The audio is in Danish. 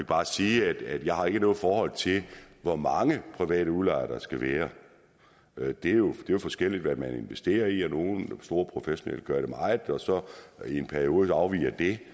bare sige at jeg ikke har noget forhold til hvor mange private udlejere der skal være være det er jo forskelligt hvad man investerer i nogle store professionelle gør det meget og i en periode afviger det